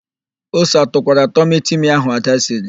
Ose atụkwara tọmịtịmị ahụ Ada siri?